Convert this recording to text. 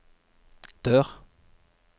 dør